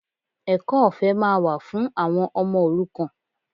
Ẹ̀kọ́ ọ̀fẹ́ máa wà fún àwọn ọmọ òrukàn